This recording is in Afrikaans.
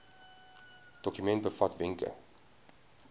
dokument bevat wenke